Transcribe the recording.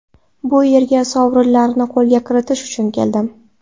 Bu yerga sovrinlarni qo‘lga kiritish uchun keldim.